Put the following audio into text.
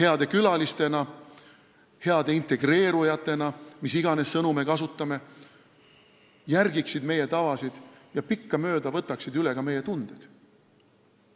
heade külalistena, heade integreerujatena, mis iganes sõnu me kasutame – järgiksid meie tavasid ning võtaksid pikkamööda üle ka meie tunded.